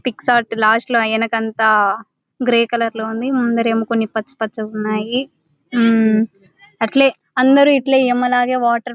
Pick shot లాస్ట్లో ఆ ఎనకంతా గ్రే కలర్ లో ఉంది. ముందరేమో కొన్ని పచ్చపచ్చగున్నాయి. ఊమ్ అట్లే అందరూ ఇట్లే ఈయమ్మ లాగే వాటర్ --